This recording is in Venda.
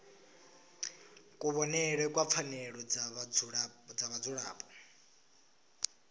kuvhonele kwa pfanelo dza vhadzulapo